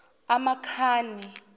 amakhani